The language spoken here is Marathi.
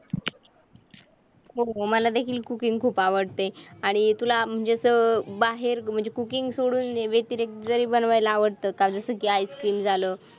हो मला देखील cooking खूप आवडते आणि तुला म्हणजेच बाहेर cooking सोडून व्यतिरिक्त जरी बनवायला आवडतं. काजूसारखे आईस्क्रीम झालं.